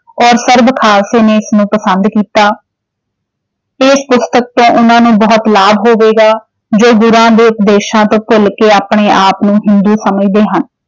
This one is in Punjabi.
ਔਰ ਸਰਬ ਖਾਲਸੇ ਨੇ ਇਸ ਨੂੰ ਪਸੰਦ ਕੀਤਾ ਇਸ ਪੁਸਤਕ ਤੋਂ ਉਹਨਾਂ ਨੂੰ ਬਹੁਤ ਲਾਭ ਹੋਵੇਗਾ ਜੋ ਗੁਰਾਂ ਦੇ ਉਪਦੇਸ਼ਾਂ ਤੋਂ ਭੁੱਲ ਕੇ ਆਪਣੇ ਆਪ ਨੂੰ ਹਿੰਦੂ ਸਮਝਦੇ ਹਨ।